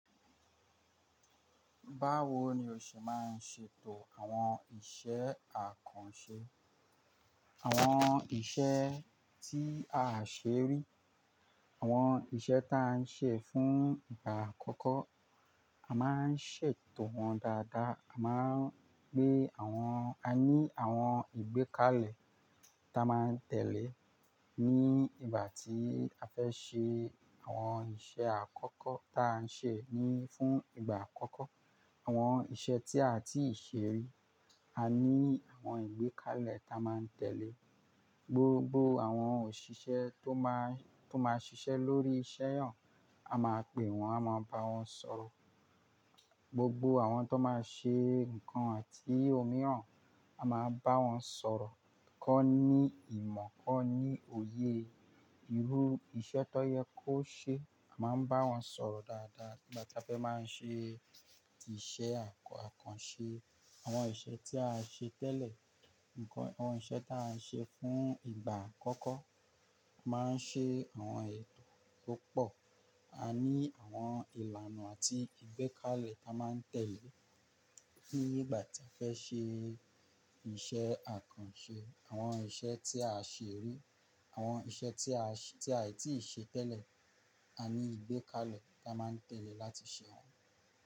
Báwo ni o ṣe máa ń ṣètò àwọn iṣẹ́ àkànṣe, àwọn iṣẹ́ tí a àṣerí, àwọn iṣẹ́ ta à ń ṣe fún ìgbà àkọ́kọ́? A máa ń ṣètò wọn dáadáa, a máa ń gbé àwọn-- a ní àwọn ìgbékalẹ̀ ta máa ń tẹ̀lé ní ìgbà tí a fẹ́ ṣe àwọn iṣẹ́ àkọ́kọ́ ta à ń ṣe ni fún ìgbà àkọ́kọ́. Àwọn iṣẹ́ tí a àì tíì ṣe rí, a ní àwọn ìgbékalẹ̀ ta máa ń tẹ̀lé. Gbogbo àwọn òṣìṣẹ́ tó máa ń, tó máa ń ṣiṣẹ́ lórí iṣẹ́ hàn, a máa pè wọ́n, a máa bá wọn sọ̀rọ̀. Gbogbo àwọn tó máa ṣe ǹkan àti òmíràn, a máa bá wọn sọ̀rọ̀. Ki won ní ìmọ̀, kan ní òye irú iṣẹ́ tó yẹ kó ṣe, a máa ń bá wọn sọ̀rọ̀ dáadáa nígbà tí a fẹ́ máa ń ṣe iṣẹ́ àkànṣe. Àwọn iṣẹ́ tí a ṣe tẹ́lẹ̀, ǹkan, àwọn iṣẹ́ ta a ń ṣe fún ìgbà àkọ́kọ́, a máa ń ṣe àwọn ètò tó pọ̀. A ní àwọn ìlànà àti ìgbékalẹ̀ ta máa ń tẹ̀lé nígbà tí a fẹ́ ṣe iṣẹ́ àkànṣe. Àwọn iṣẹ́ tí a ṣe rí, àwọn iṣẹ́ tí a ṣe, tí a àì tíì ṣe tẹ́lẹ̀, a ní ìgbékalẹ̀ ta máa ń tẹ̀lé láti ṣe wọ́n.